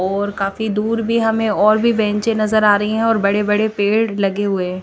और काफी दूर भी हमे और भी बेंचे नज़र आरी है और बड़े बड़े पेड़ लगे हुए --